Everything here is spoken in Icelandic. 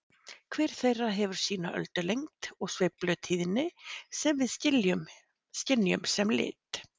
Hver þeirra hefur sína öldulengd og sveiflutíðni sem við skynjum sem lit.